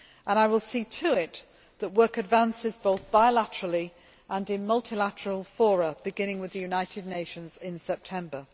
me. I will see to it that work advances, both bilaterally and in multilateral fora, beginning with the United Nations in September.